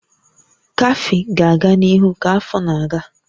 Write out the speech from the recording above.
Kafee ga-aga n'ihu ka afọ na-aga